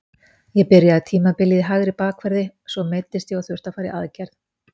Ég byrjaði tímabilið í hægri bakverði, svo meiddist ég og þurfti að fara í aðgerð.